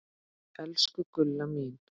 Elsku Gulla mín.